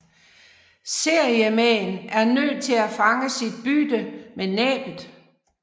Seriemaen er nødt til at fange sit bytte med næbbet